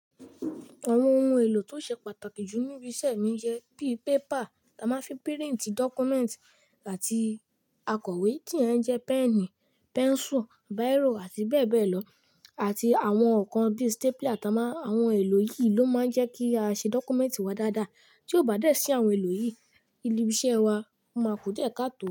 Àwọn ohun èlò tó ṣe pàtàkì jù níbi iṣẹ́ mi jẹ́ bíi pépà a máa ń fi píríǹti dọ́kúmẹ́ǹtì àti akọ̀wé tí yen n jẹ péènì, pẹ́ńsù, báírò àti bẹ́ẹ̀ bẹ́ẹ̀ lọ àti àwọn nnkan bíi stapler. Àwọn ohun èlò yìí ló máa ń jẹ́ kí a ṣe dọ́kúmẹ́ǹtì wa dáadáa. Tí ó bá dẹ́ sí àwọn èlò yìí, ibi iṣẹ́ wa máa ku diẹ kaá tó.